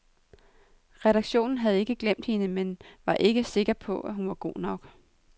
Redaktionen havde ikke glemt hende, men var ikke sikker på, hun var god nok.